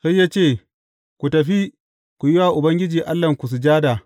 Sai ya ce, Ku tafi, ku yi wa Ubangiji Allahnku sujada.